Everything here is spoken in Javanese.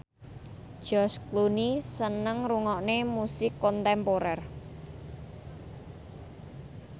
George Clooney seneng ngrungokne musik kontemporer